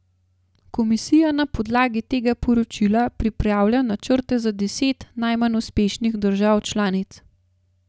Komisija na podlagi tega poročila pripravlja načrte za deset najmanj uspešnih držav članic.